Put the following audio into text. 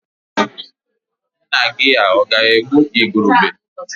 Nna-gi ọ̀ ga-egbu igurube?